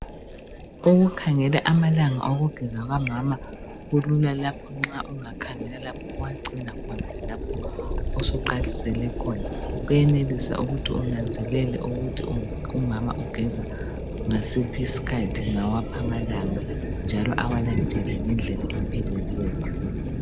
Ukukhangela amalanga okugeza kukamama kulula lapho nxa ungakhangela lapho owacina khona lalapho osuqalisele khona. Kuyenelisa ukuthi unanzelele ukuthi umama ugeza ngasiphi isikhathi, ngawaphi amalanga njalo awalandele ngendlela epheleleyo.